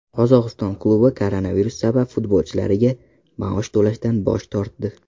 Qozog‘iston klubi koronavirus sabab futbolchilariga maosh to‘lashdan bosh tortdi.